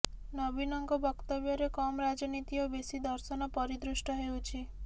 ନବୀନଙ୍କ ବକ୍ତବ୍ୟରେ କମ୍ ରାଜନୀତି ଓ ବେଶୀ ଦର୍ଶନ ପରିଦୃଷ୍ଟ ହେଉଛି